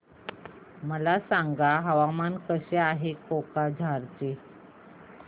मला सांगा हवामान कसे आहे कोक्राझार चे